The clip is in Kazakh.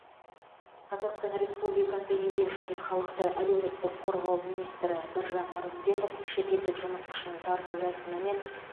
қазақстан республикасы еңбек және халықты әлеуметтік қорғау министрі біржан нұрымбетов шетелдік жұмыс күшін тарту рәсімі мен